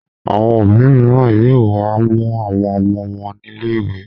Àwọn òbí mìíràn yóò wá mú àwọn ọmọ wọn nílè ìwé.